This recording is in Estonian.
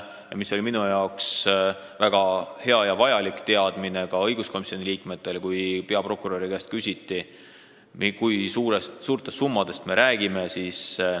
Mina ja ka teised õiguskomisjoni liikmed saime väga hea ja vajaliku teadmise siis, kui peaprokurörilt küsiti, et kui suurtest summadest me räägime.